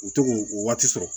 U to k'o o waati sɔrɔ